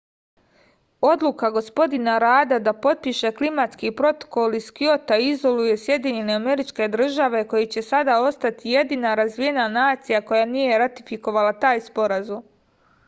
odluka gospodina rada da potpiše klimatski protokol iz kjota izoluje sjedinjene američke države koje će sada ostati jedina razvijena nacija koja nije ratifikovala taj sporazum